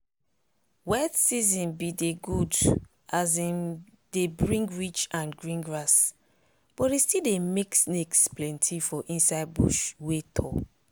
wet season be de good as im de bring rich and green grass but e still de make snakes plenty for inside bush wey tall.